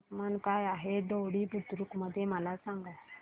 तापमान काय आहे दोडी बुद्रुक मध्ये मला सांगा